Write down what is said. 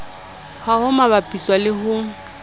ha ho bapiswa le ho